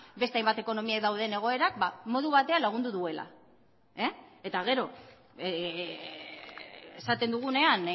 beste hainbat ekonomia dauden egoerak modu batean lagundu duela eta gero esaten dugunean